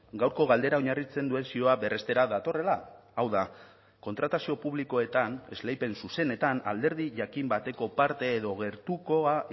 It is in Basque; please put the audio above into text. gaurko galdera oinarritzen duen zioa berrestera datorrela hau da kontratazio publikoetan esleipen zuzenetan alderdi jakin bateko parte edo gertukoa